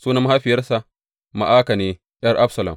Sunan mahaifiya mahaifiyarsa, Ma’aka ne ’yar Abisalom.